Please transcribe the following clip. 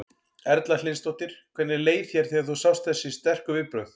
Erla Hlynsdóttir: Hvernig leið þér þegar þú sást þessi sterku viðbrögð?